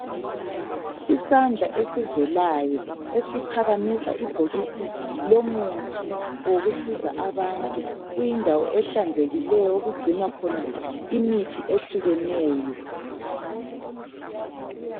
Isandla ezivelayo esiphakamisa ibhokisi lomuthi wokusiza abantu, kuyindawo ehlanzekileyo okugcinwa khona imithi ehlukeneyo.